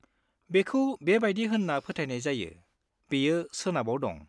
बेखौ बेबायदि होन्ना फोथायनाय जायो, बेयो सोनाबाव दं।